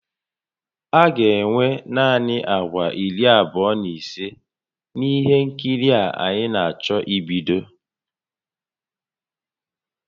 A ga-enwe naanị àgwà iri abụọ na ise na ihe nkiri a anyị na-achọ ibido